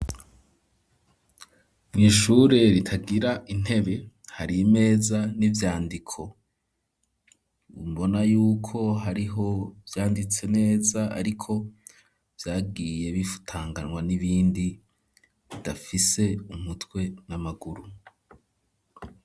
Mw'ishure ritagira intebe hari imeza n'ivyandiko, mbona yuko hariho ivyanditse neza ariko vyagiye bifutanganwa n'ibindi bidafise umutwe n'amaguru.